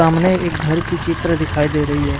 हमने एक घर की चित्र दिखाई दे रही है।